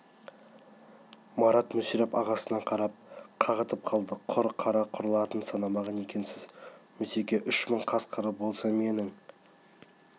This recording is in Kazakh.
марат мүсіреп ағасына қарап қағытып қалды құр қара құрларын санамаған екенсіз мүсеке үш мың қасқыры болса менің